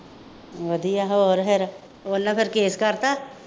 ਵਧੀਆ ਹੋਰ ਫੇਰ ਉਹਨਾ ਫੇਰ ਕੇਸ ਕਰਤਾ